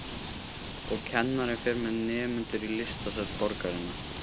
Og kennarinn fer með nemendur í listasöfn borgarinnar.